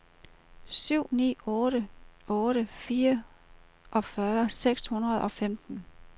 syv ni otte otte fireogfyrre seks hundrede og femten